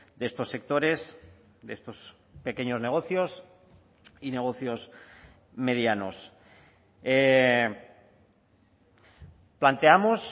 de estos sectores de estos pequeños negocios y negocios medianos planteamos